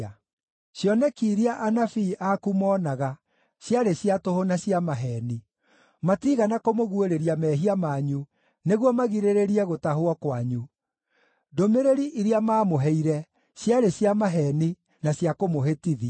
Cioneki iria anabii aku moonaga ciarĩ cia tũhũ na cia maheeni; matiigana kũmũguũrĩria mehia manyu nĩguo magirĩrĩrie gũtahwo kwanyu. Ndũmĩrĩri iria maamũheire ciarĩ cia maheeni, na cia kũmũhĩtithia.